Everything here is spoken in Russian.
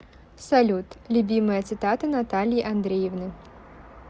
салют любимая цитата натальи андреевны